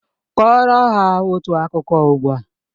Kọrọ ha otu akụkọ ugbu a!